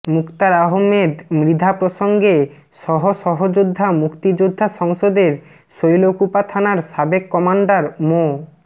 মুক্তার আহমেদ মৃধা প্রসঙ্গে সহ সহযোদ্ধা মুক্তিযোদ্ধা সংসদের শৈলকুপা থানার সাবেক কমান্ডার মো